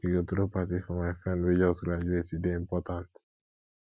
we go throw party for my friend wey just graduate e dey important